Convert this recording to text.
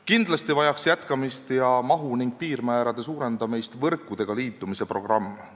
Kindlasti oleks vaja jätkata võrkudega liitumise programmi ning suurendada selle mahtu ja piirmäärasid.